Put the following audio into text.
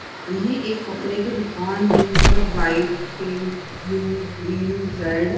यह एक कपड़े की दुकान है यहां पे white pink blue green red --